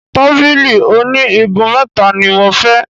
Tábìlì oní igun mẹ́ta ni mo fẹ́.